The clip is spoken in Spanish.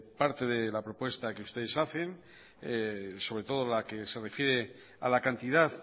parte de la propuesta que ustedes hacen sobre todo la que se refiere a la cantidad